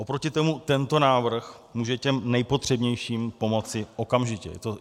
Oproti tomu tento návrh může těm nejpotřebnějším pomoci okamžitě.